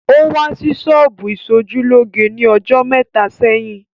Ó wá sí ṣọ́bù ìsojúlóge ní ọjọ́ mẹ́ta sẹ́yìn